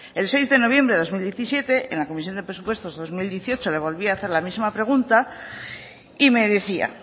el seis de noviembre de dos mil diecisiete en la comisión de presupuestos dos mil dieciocho le volvía a hacer la misma pregunta y me decía